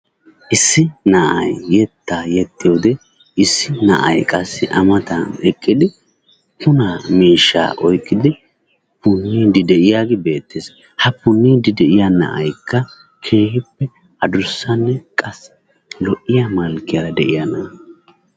Issi na"ayi yettaa yexxiyode issi na"ayi qassi a matan eqqidi punaa miishshaa oyqqidi punniiddi de"iyagee beettes. Ha punniiddi de"iya na"ayikka keehippe adussanne qassi lo"iya malkkiyara de"iya na"a.